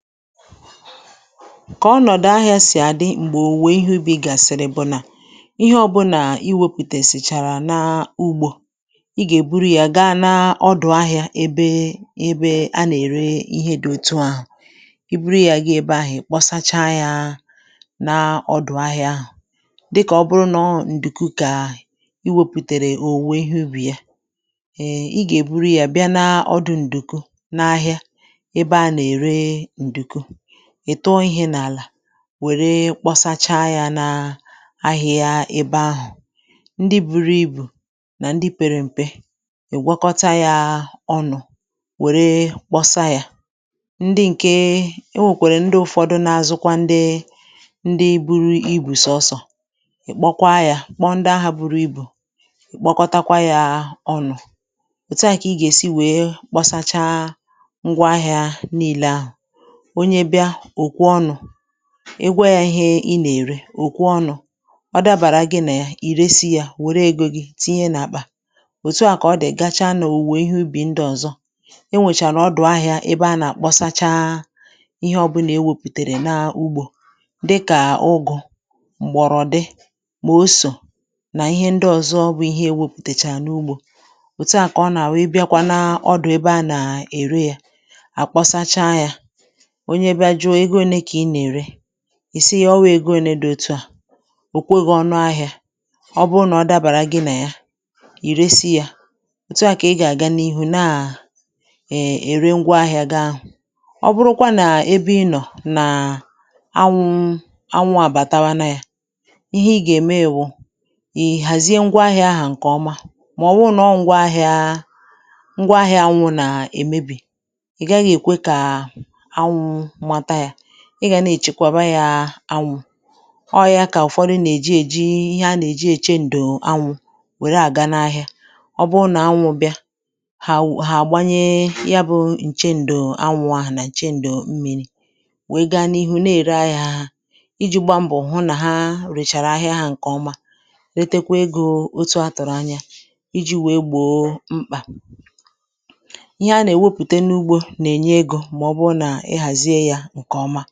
Kà ọnọ̀dụ̀ ahịa sì àdị m̀gbè òwe ihe ubi̇ gàsịrị, bụ̀ nà ihe ọbụ̇ nà i wepùtè sìchàrà n’ugbȯ, ị gà-èburu ya gaa n’ọdụ̀ ahịȧ, ebe ebe a nà-ère ihe dòtu ahụ̀, i buru ya gị ebe ahụ̀ kposacha ya n’ọdụ̀ ahịȧ ahụ̀, dịkà ọ bụrụ nà ǹdùku. Kà i wepùtèrè òwùwe ihe ubi̇ ya, ị gà-èburu ya bịa n’ọdụ̀ ǹdùku n’ahịa ìtụọ ihė n’àlà wère kpọsacha ya na ahịa, ebe ahụ̀ ndị buru ibù nà ndị pere m̀pe ìgwọkọta ya ọnụ̇ wère kpọsa ya, ndị ǹke o nwèkwèrè, ndị ụ̀fọdụ na-azụkwa, ndị ndị buru igwù, sọsọ ìkpokwaa ya, kpọọ ndị ahụ̇ buru ibù, kpọkọtakwa ya ọnụ̇. Òtu a, kà ị gà-èsi wee kpọsacha ngwa ahịa niile ahụ̀. Onye bịa òkwu ọnụ̇ egwe ya ihe ị nà-ère òkwu ọnụ̇, ọ dabàrà gị nà ì resi ya, wère egȯ gi tinye nà-àkpà òtu à, kà ọ dị̀ gacha n’òwùwè ihe ubì ndị ọ̀zọ enwèchàrà ọdụ̀ ahị̇ȧ. Ebe a nà-àkpọsacha ihe ọbụ̇ nà ewepùtèrè n’ugbȯ, dịkà ụgụ̇ m̀gbọ̀rọ̀ dị, mà o sò nà ihe ndị ọ̀zọ, bụ ihe ewepùtèchà n’ugbȯ. Òtu à kà ọ nà wèe bịakwa n’ọdụ̀ ebe a nà-ère ya à kpọsacha ya, ìsighi̇ ọwȧ ego òne dị̇. Òtu à òkwe gȧ ọ̀nụ ahịȧ, ọ bụ nà ọ dàbàrà gị nà ya, ì resi yȧ òtu à, kà ị gà àga n’ihu nà è ère ngwa ahịȧ gaa ahụ̀. Ọ bụrụkwa nà ebe ị nọ̀ nà anwụ anwụ àbàtawa na yȧ, ihe ị gà èmewu, ì hàzie ngwa ahịȧ ǹkè ọma, màọwụ̇ na ọ, ngwa ahịȧ, ngwa ahịa anwụ̇, nà èmebì ị gà nà-èchekwàba ya anwụ̇. Ọọ̇ ya kà ụ̀fọdụ nà-èji èji ihe a nà-èji èche ǹdò anwụ̇, wère àga n’ahịa. Ọ bụ nà anwụ̇ bịa, hà ha gbanyẹ ya, bụ̇ ǹche ǹdò anwụ̇ ahụ̀ nà ǹche ǹdò mmi̇ri̇. Wèe gani ihu na-ère ahịa iji̇ gba mbọ̀ hụ nà ha rèchàrà ahịa ǹkèọma, letekwa egȯ otu a tụ̀rụ̀ anya iji̇ wèe gbò mkpà ihe a nà-èwepùte n’ugbȯ nà-ènye egȯ.